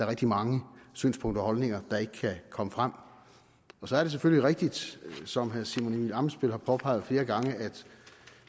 rigtig mange synspunkter og holdninger der ikke kan komme frem så er det selvfølgelig rigtigt som herre simon emil ammitzbøll har påpeget flere gange at